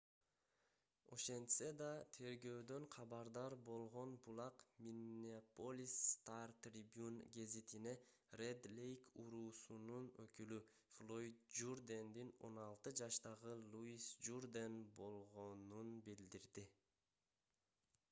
ошентсе да тергөөдөн кабардар болгон булак миннеаполис стар трибюн гезитине ред лейк уруусунун өкүлү флойд журдендин 16 жаштагы луис журден болгонун билдирди